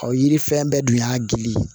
yiri fɛn bɛɛ dun y'a gili